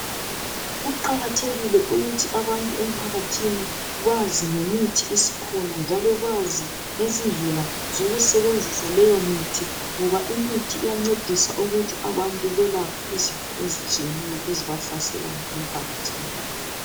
Kuqakathekile ukuthi abantu emphakathini bazi ngemithi esikhona njalo bazi ngezindlela zokusenzisa leyo mithi ngoba imithi iyancedisa ukuthi abantu belapha izifo ezitshiyeneyo ezibahlaselayo emphakathini.